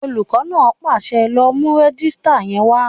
Olùkọ́ náà pàṣẹ, "lọ mú rẹ́jísítà yẹn wá!"